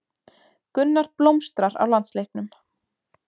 Gunnar blómstrar á landsleiknum